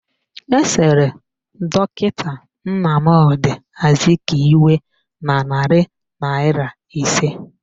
Esere dọkịta Nnamdi Azikiwe n' narị naịra ise